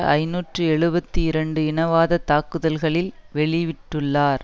ஐநூற்று எழுபத்தி இரண்டு இனவாதத் தாக்குதல்களில் வெளிவிட்டுள்ளார்